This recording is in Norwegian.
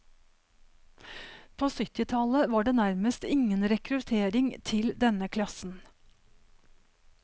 På syttitallet var det nærmest ingen rekruttering til denne klassen.